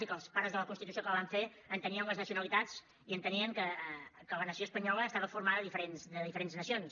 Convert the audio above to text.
i que els pares de la constitució que la van fer entenien les nacionalitats i entenien que la nació espanyola estava formada de diferents nacions